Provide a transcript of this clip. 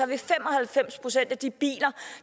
vil fem og halvfems procent af de biler